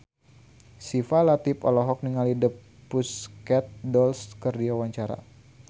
Syifa Latief olohok ningali The Pussycat Dolls keur diwawancara